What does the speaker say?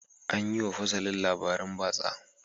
An yi wa fasalin labaran batsa.